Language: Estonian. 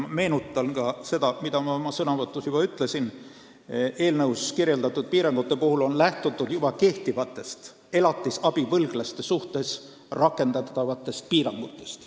Meenutan ka seda, mida ma oma sõnavõtus ütlesin, et eelnõus kirjeldatud piirangute puhul on lähtutud juba kehtivatest elatisabivõlglaste suhtes rakendatavatest piirangutest.